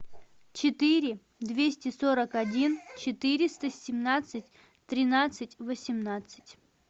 четыре двести сорок один четыреста семнадцать тринадцать восемнадцать